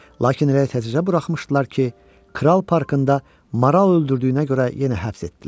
Lakin elə təzə buraxmışdılar ki, kral parkında maral öldürdüyünə görə yenə həbs etdilər.